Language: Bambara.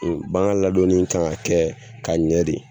bagan ladonni kan ka kɛ ka ɲɛ de